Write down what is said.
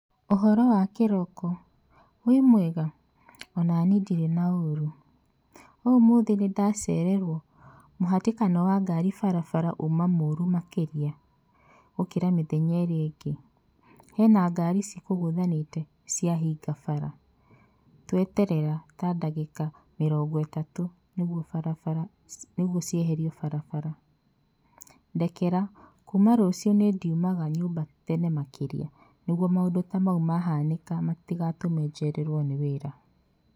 ''Ũhoro wa kĩroko wĩ mwega?,onani ndirĩ na ũrũ, ũmũthĩ nĩndacererwo mũhĩtĩkano wa ngari barabara ũma mũrũ makĩrĩa gũkĩra mĩthenya ĩrĩa ĩngĩ, hena ngari cikũgũthanĩte ciahinga bara tweterera ta ndagĩka mĩrongo ĩtatũ nĩgũo cieherwe barabara, ndekera kuuma rũcinĩ ndĩrĩumaga nyũmba tene makĩria nĩgũo maũndũ ta maũ mahanĩka matigatũme njererwo nĩ wĩra.''